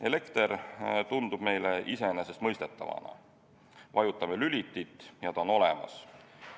Elekter tundub meile iseenesestmõistetavana, vajutame lülitit ja ta on olemas.